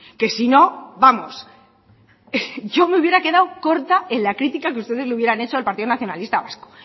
que si no vamos yo me hubiera quedado corta en la crítica que ustedes le hubieran hecho al partido nacionalista vasco